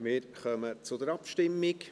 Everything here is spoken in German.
Wir kommen zur Abstimmung.